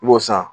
I b'o san